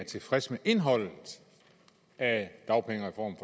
er tilfreds med indholdet af dagpengereformen